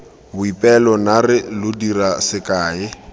boipelo naare lo dira sekae